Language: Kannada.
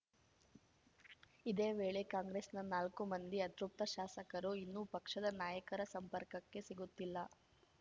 ಇದೇ ವೇಳೆ ಕಾಂಗ್ರೆಸ್‌ನ ನಾಲ್ಕು ಮಂದಿ ಅತೃಪ್ತ ಶಾಸಕರು ಇನ್ನೂ ಪಕ್ಷದ ನಾಯಕರ ಸಂಪರ್ಕಕ್ಕೆ ಸಿಗುತ್ತಿಲ್ಲ